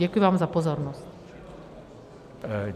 Děkuji vám za pozornost.